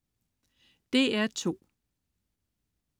DR2: